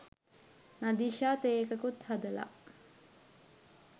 නදීෂා තේ එකකුත් හදලා